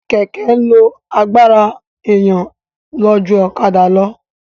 Kẹ̀kẹ́ ń lo agbára èèyàn lọ ju ọ̀kadà lọ